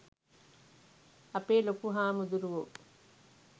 අපේ ලොකු හාමුදුරුවො